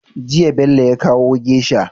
Jiya Bello ya kawo geisha